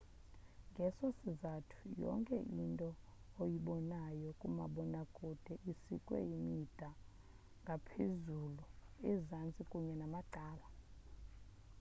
ngeso sizathu yonke into oyibonayo kumabonakude isikwe imida ngaphezulu ezantsi kunye namacala